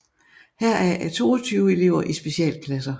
Heraf er 22 elever i specialklasser